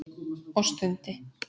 Og stundi.